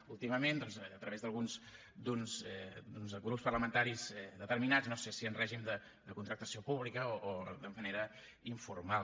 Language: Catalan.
últimament doncs a través d’uns grups parlamentaris determinats no sé si en règim de contractació pública o de manera informal